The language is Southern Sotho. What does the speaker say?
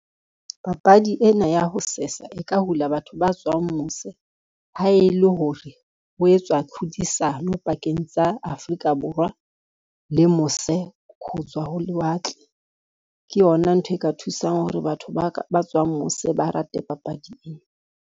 Papadi ena ya ho sesa e ka hula batho ba tswang mose, ha e le hore ho etswa tlhodisano pakeng tsa Afrika Borwa le mose ho tswa ho lewatle. Ke yona ntho e ka thusang hore batho ba tswang mose, ba rate papadi ena.